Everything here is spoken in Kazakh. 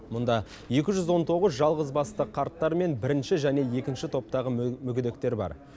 мұнда екі жүз он тоғыз жалғыз басты қарттар мен бірінші және екінші топтағы мүгедектер бар